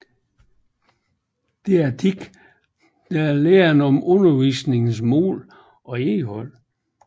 Didaktik er læren om undervisningens mål og indhold